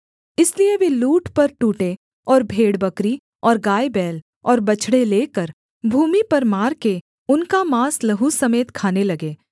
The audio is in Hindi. इसलिए वे लूट पर टूटे और भेड़बकरी और गायबैल और बछड़े लेकर भूमि पर मारकर उनका माँस लहू समेत खाने लगे